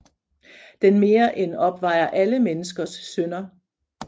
Den mere end opvejer alle menneskers synder